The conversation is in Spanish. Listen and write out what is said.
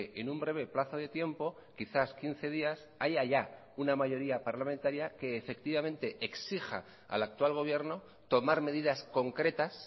en un breve plazo de tiempo quizás quince días haya ya una mayoría parlamentaria que efectivamente exija al actual gobierno tomar medidas concretas